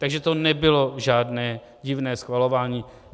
Takže to nebylo žádné divné schvalování.